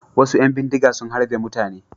Wasu ƴan bindiga sun harbe mutane.